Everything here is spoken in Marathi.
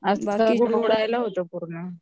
आजकाल उकडायला होतं पूर्ण